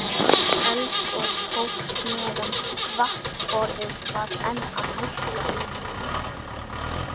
Eldgos hófst meðan vatnsborðið var enn að hækka.